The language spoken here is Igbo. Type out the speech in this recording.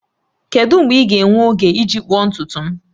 Kedu mgbe ị ga-enwe oge iji kpụọ ntutu m?